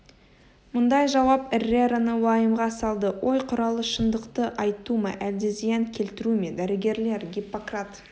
мұндай жауап эррераны уайымға салды ой құралы шындықты айту ма әлде зиян келтіру ме дәрігерлер гиппократ